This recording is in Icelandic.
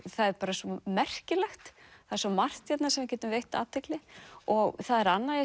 það er svo merkilegt það er svo margt sem við getum veitt athygli og það er annað